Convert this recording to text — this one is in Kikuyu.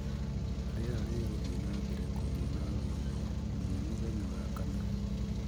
Rĩera rĩgũthiĩ na mbere kũgĩa na rũhuho gina mũthenya wa Wakana